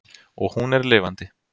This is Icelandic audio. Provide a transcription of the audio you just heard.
Og hún er lifandi.